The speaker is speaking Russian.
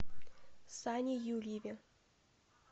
сане юрьеве